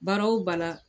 Baara o baara